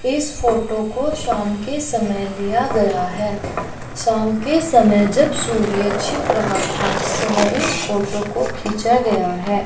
इस फोटो को शाम के समय लिया गया है शाम के समय जब सूर्य छिप रहा था उस समय इस फोटो को खिचा गया है।